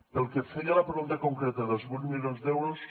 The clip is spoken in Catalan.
pel que feia a la pregunta concreta dels vuit milions d’euros